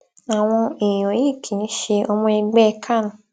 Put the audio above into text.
àwọn èèyàn yìí kì í ṣe ọmọ ẹgbẹ can